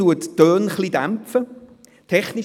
Das eine dämpft die Töne etwas.